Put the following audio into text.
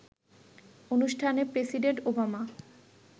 অনুষ্ঠানে president Obama